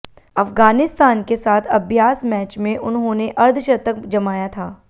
अफगानिस्तान के साथ अभ्यास मैच में उन्होंने अर्धशतक जमाया था